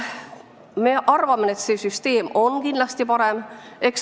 Me arvame, et see süsteem on kindlasti parem.